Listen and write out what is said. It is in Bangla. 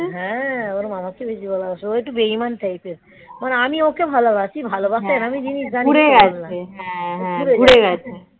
হ্যাঁ ওর মামাকে বেশি ভালোবাসে ও একটু বেইমান type এর মানে আমি ওকে ভালোবাসি, ভালোবাসার আমি জিনিস ঘুরে গেছে হ্যাঁ